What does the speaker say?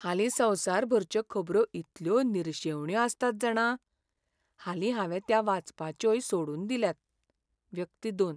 हालीं संवसारभरच्यो खबरो इतल्यो निरशेवण्यो आसतात जाणा, हालीं हांवें त्या वाचपाच्योय सोडून दिल्यात. व्यक्ती दोन